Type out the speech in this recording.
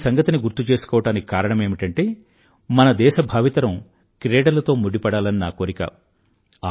ఈ సంగతిని గుర్తు చేసుకోవడానికి కారణమేమిటంటే మన దేశ భావితరం క్రీడలతో ముడిపడాలని నా కోరిక